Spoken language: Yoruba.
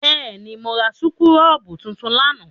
Bẹ́ẹ̀ ni, mo ra súkúrọ́bù tuntun lánàá.